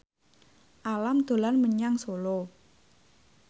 Alam dolan menyang Solo